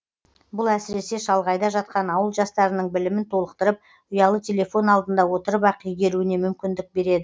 бұл әсіресе шалғайда жатқан ауыл жастарының білімін толықтырып ұялы телефон алдында отырып ақ игеруіне мүмкіндік береді